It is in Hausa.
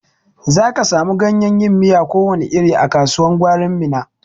Za ka samu ganyen yin miya ko wani iri a kasuwan gwarin Minna.